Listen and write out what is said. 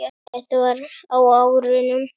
Þetta var á árunum